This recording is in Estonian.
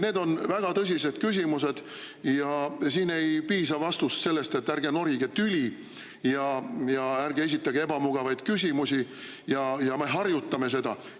Need on väga tõsised küsimused ja siin ei piisa vastusest, et ärge norige tüli ja ärge esitage ebamugavaid küsimusi ja me harjutame seda.